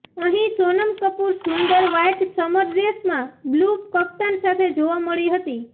અહીં સોનમ કપૂર સુંદર white summer ડ્રેસમાં બ્લુ કફ્તાન સાથે જોવા મળી હતી